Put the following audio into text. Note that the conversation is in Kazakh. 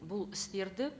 бұл істерді